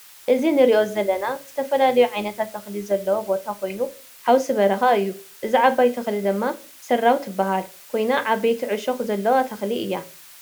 እዚ ንርኦ ዘለና ዝተፈላለዮ ዓይነታት ተክሊታት ዘለዎ ቦታ ኮይኑ ሐውሲ በረካ እዮ ። እዛ ዓባይ ተክሊ ድማ ሰራው ትበሃል ኮይና ዓበይቲ ዕሾክ ዘለዎ ተክሊ እዮ ።